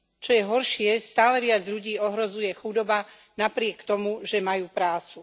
Čo je horšie, stále viac ľudí ohrozuje chudoba napriek tomu, že majú prácu.